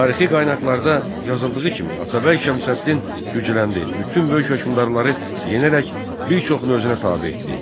Tarixi qaynaqlarda yazıldığı kimi Atabəy Şəmsəddin gücləndi, bütün böyük hökmdarları yenərək bir çoxunu özünə tabe etdi.